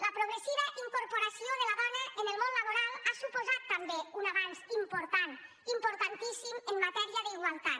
la progressiva incorporació de la dona en el món laboral ha suposat també un avanç important importantíssim en matèria d’igualtat